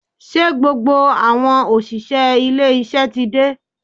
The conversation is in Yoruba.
Ṣé gbogbo àwọn òṣìṣẹ́ ilé iṣẹ́ ti dé?